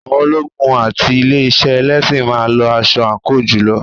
Àwọn ológun àti ilé iṣẹ́ ẹlẹ́sìn máa ń lo aṣọ àǹkóò jùlọ.